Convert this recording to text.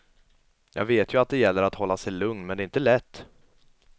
Jag vet ju att det gäller att hålla sig lugn, men det är inte lätt.